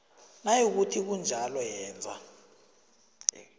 nayikuthi kunjalo yenza